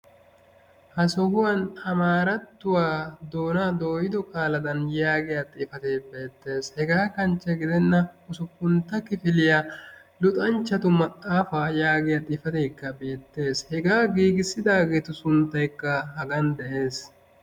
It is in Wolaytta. Ha sohuwan amaarattuwaa doonaa doyioo qaaladan yaagiyaa xifatee de'es hegaa kanchche didenna usuppeuntta kifiliyaa luxanchchatu maxaafaa yagiyaa xifateekka beettes hegaa giigissidaageetu sunttaykka hagan de'ees.